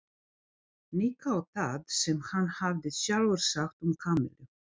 Nikka á það sem hann hafði sjálfur sagt um Kamillu.